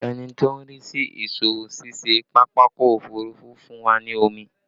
Ẹni tó ń rí sí ìsọwọ́-ṣiṣẹ́ pápákọ̀ òfurufú fún wa ní omi